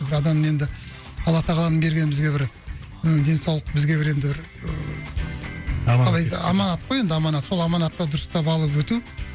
адам енді алла тағаланың берген бізге бір ы денсаулық бізге бір енді і бір қалай аманат қой енді аманат сол аманатты дұрыстап алып өту